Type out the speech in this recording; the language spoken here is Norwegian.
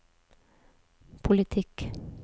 politikk